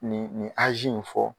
Nin nin in fɔ.